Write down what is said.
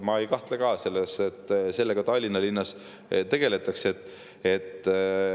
Ma ei kahtle selles, et Tallinna linnas sellega tegeldakse.